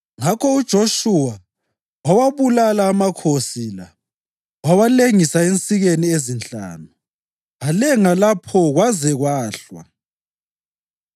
Ngakho uJoshuwa wawabulala amakhosi la wawalengisa ensikeni ezinhlanu, alenga lapho kwaze kwahlwa.